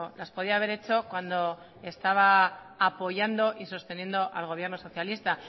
las podía haber hecho cuando estaba apoyando y sosteniendo al gobierno socialista